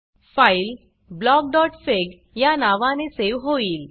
file blockफिग या नावाने सेव होईल